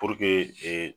ee